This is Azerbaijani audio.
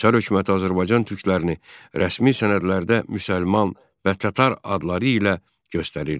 Çar hökuməti Azərbaycan türklərini rəsmi sənədlərdə müsəlman və tatar adları ilə göstərirdi.